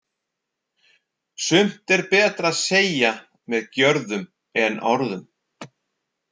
Sumt er betra að segja með gjörðum en orðum.